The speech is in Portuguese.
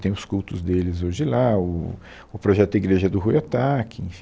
Tem os cultos deles hoje lá, o o projeto da Igreja é do Ruy Ohtake, enfim